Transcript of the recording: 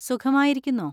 സുഖമായിരിക്കുന്നോ?